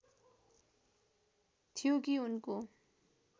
थियो कि उनको